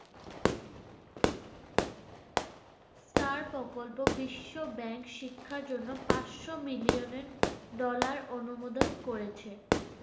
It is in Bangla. তার প্রকল্প বিশ্বব্যাংক শিক্ষার জন্য পাঁচশো million dollar অনুমোদন করেছে।